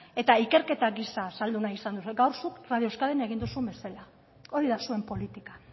eta ikerketa gisa azaldu nahi izan duzue gaur zuk radio euskadin egin duzun bezala hori da zuen politika